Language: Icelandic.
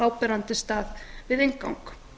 áberandi stað við inngang